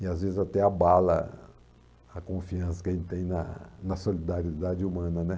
E às vezes até abala a a confiança que a gente tem na na solidariedade humana, né?